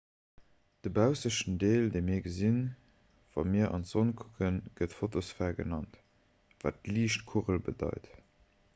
de baussechten deel dee mir gesinn wa mir an d'sonn kucken gëtt fotosphär genannt wat liichtkugel bedeit